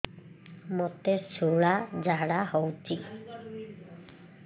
ମୋତେ ଶୂଳା ଝାଡ଼ା ହଉଚି